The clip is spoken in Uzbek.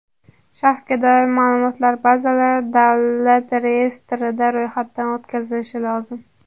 Shaxsga doir ma’lumotlar bazalari davlat reyestrida ro‘yxatdan o‘tkazilishi lozim.